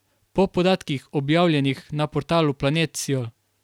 Po podatkih, objavljenih na portalu Planet siol.